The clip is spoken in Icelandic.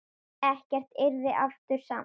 Ekkert yrði aftur samt.